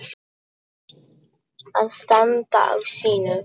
Að standa á sínu